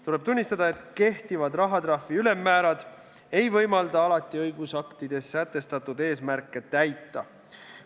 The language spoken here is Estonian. Tuleb tunnistada, et kehtivad rahatrahvi ülemmäärad ei võimalda alati õigusaktides sätestatud eesmärke täita.